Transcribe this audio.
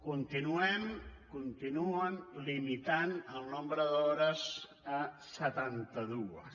continuem continuen limitant el nombre d’hores a setanta dues